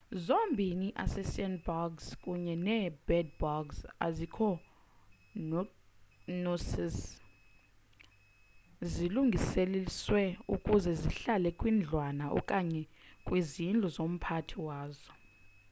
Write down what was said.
zombini i-assassin-bugs kunye nee-bed-bugs azikho nocic zilungelelaniswe ukuze zihlale kwindlwana okanye kwizindlu zomphathi wazo